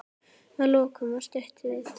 Að lokum var stutt viðtal.